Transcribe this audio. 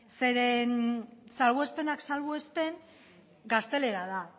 zeren salbuespenak salbuespen gaztelera da